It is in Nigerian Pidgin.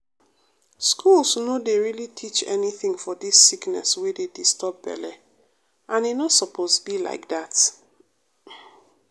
schools no dey really teach anytin for dis sickness wey dey disturb belle and e no suppose be like dat.